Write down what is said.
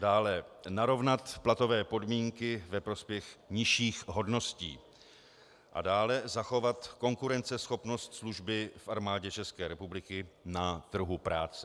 Dále narovnat platové podmínky ve prospěch nižších hodností a dále zachovat konkurenceschopnost služby v Armádě České republiky na trhu práce.